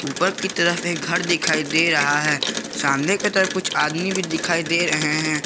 ऊपर की तरफ एक घर दिखाई दे रहा है सामने की तरफ कुछ आदमी भी दिखाई दे रहे हैं।